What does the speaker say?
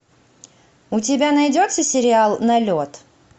у тебя найдется сериал налет